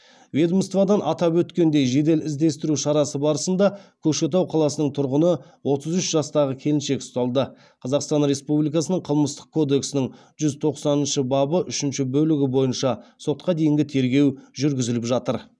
ведомстводан атап өткендей жедел іздестіру шарасы барысында көкшетау қаласының тұрғыны отыз үш жастағы келіншек ұсталды қазақстан республикасының қылмыстық кодексінің жүз тоқсаныншы бабы үшінші бөлігі бойынша сотқа дейінгі тергеу жүргізіліп жатыр